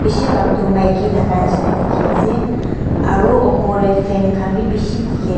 She bak tu maki thaka neshna dekhe ase aro upor tey fan kahn be beshe dekhe a--